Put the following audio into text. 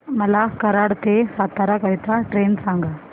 मला कराड ते सातारा करीता ट्रेन सांगा